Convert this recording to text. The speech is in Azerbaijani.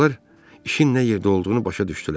Uşaqlar işin nə yerdə olduğunu başa düşdülər.